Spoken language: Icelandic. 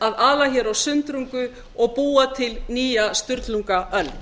að ala á sundrungu og búa til nýja sturlungaöld